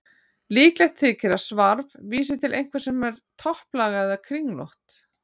Líklegt þykir að svarf vísi til einhvers sem er topplaga eða kringlótt.